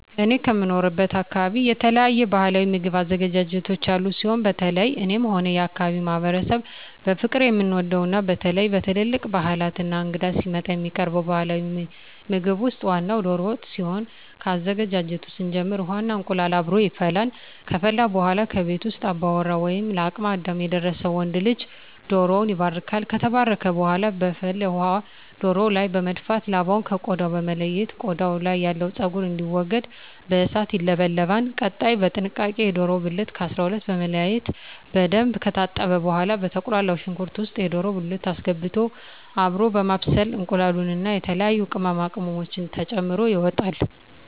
እኔ ከምኖርበት አካበቢ የተለያዩ ባህላዊ ምግብ አዘገጃጀቶች ያሉ ሲሆን በተለየ እኔም ሆነ የአካባቢዉ ማህበረሰብ በፍቅር የምንወደው እና በተለየ በትልልቅ ባህላት እና እንግዳ ሲመጣ የሚቀርበው ባህላዊ ምግብ ውስጥ ዋናው ደሮ ወጥ ሲሆን ከአዘገጃጀቱ ስንጀምር ውሃ እና እንቁላሉ አብሮ ይፈላል ከፈላ በኃላ ከቤት ውስጥ አባወራ ወይም ለአቅመ አዳም የደረሰ ወንድ ልጅ ደሮዉን ይባርካል። ከተባረከ በኃላ በፍል ውሃው ደሮው ላይ በመድፋት ላባውን ከ ቆዳው በመለየት ቆዳው ያለው ፀጉር እንዲወገድ በእሳት ይለበለባል። ቀጣይ በጥንቃቄ የደሮውን ብልት ከ 12 በመለያየት በደንብ ከታጠበ በኃላ በተቁላላው ሽንኩርት ውስጥ የደሮ ብልት አስገብቶ አብሮ በማብሰል እንቁላሉን እና የተለያዩ ቅመማ ቅመሞችን ተጨምሮ ይወጣል።